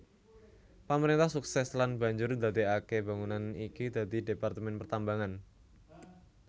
Pamrentah sukses lan banjur ndadekake bangunan iki dadi Departemen Pertambangan